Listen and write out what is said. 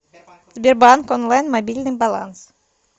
сбербанк онлайн мобильный баланс